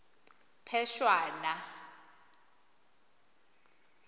phešwana